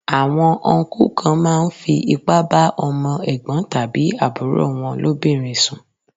Àwọn Ọnkú kan máa ń fi ipá bá ọmọ Ẹ̀gbọ́n tàbí àbúrò wọn lóbìnrin sùn.